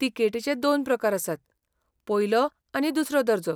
तिकेटीचे दोन प्रकार आसात, पयलो आनी दुसरो दर्जो.